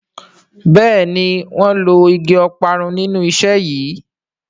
Béèni wón ló ìgi Ọparun nínú iṣé yí.